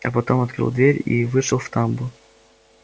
а потом открыл дверь и вышел в тамбур